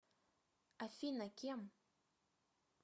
афина кем